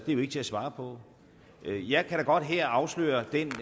jo ikke til at svare på jeg kan da godt her afsløre den